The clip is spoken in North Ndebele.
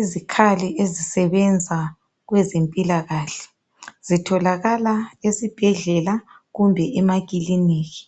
izikhali ezisebenza kwezempila kahle zitholakala esibhedlela kumbe emakilinika